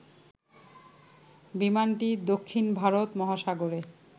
বিমানটি দক্ষিণ ভারত মহাসাগরে